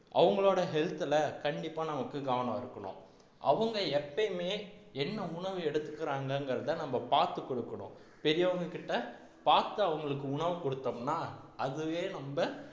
அவங்களோட health ல கண்டிப்பா நமக்கு கவனம் இருக்கணும் அவங்க எப்பவுமே என்ன உணவு எடுத்துக்குறாங்கங்கிறதை நம்ம பார்த்து கொடுக்கணும் பெரியவங்ககிட்ட பார்த்து அவங்களுக்கு உணவு கொடுத்தோம்ன்னா அதுவே நம்ம